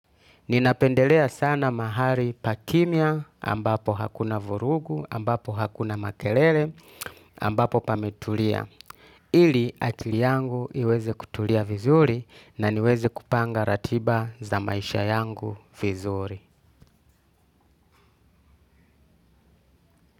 Ninapendelea sana mahali pakimya ambapo hakuna vurugu, ambapo hakuna makelele, ambapo pametulia. Ili akili yangu iweze kutulia vizuri na niweze kupanga ratiba za maisha yangu vizuri.